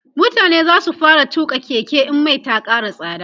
mutane zasu fara tuƙa Keke in Mai Ta Kara tsada